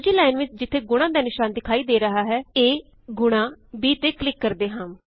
ਦੂਜੀ ਲਾਇਨ ਵਿੱਚ ਜਿੱਥੇ ਗੁਣਾਂ ਦਾ ਨਿਸ਼ਾਨ ਵਿਖਾਈ ਦੇ ਰਿਹਾ ਹੈ a ਗੁਣਾ b ਤੇ ਕਲਿਕ ਕਰਦੇ ਹਾਂ